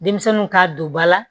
Denmisɛnninw ka don ba la